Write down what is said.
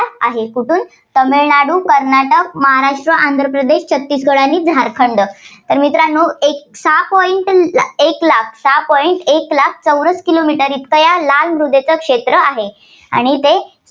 आहे. कुठून तामिळनाडू, कर्नाटक, महाराष्ट्र, आंध्र प्रदेश, छत्तीसगड आणि झारखंड. तर मित्रांनो एक सहा point एक लाख, सहा point एक लाख चौरस kilo meter इतका या लाल मृदेचं क्षेत्र आहे. आणि ते